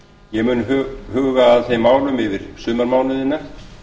ég mun huga að þeim málum yfir sumarmánuðina